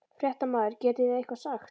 Fréttamaður: Getið þið eitthvað sagt?